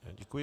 Děkuji.